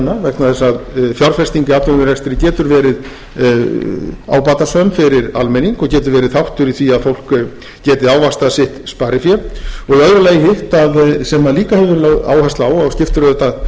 vegna þess að fjárfesting í atvinnurekstri getur verið ábatasöm fyrir almenning og getur verið þáttur í því að fólk geti ávaxtað sitt sparifé og í öðru lagi hitt sem líka hefur verið lögð áhersla á og skiptir auðvitað